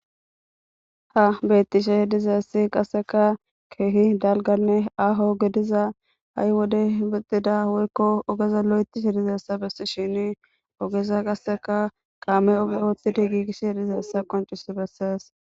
Ha beettishe de7izayssi qasseka keehi dalganne aho gediza ha7i wode hibixida woykko ogeza lo7etishe dizeessa bessi shini ogeza qasseka kaame oge oottida giigish hedizeessa qoncis bessees.